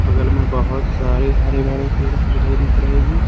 बगल में बहुत सारे हरे भड़े पेड़ पौधे दिख रहे हैं।